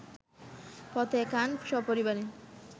ফতেহ খান, সপরিবারে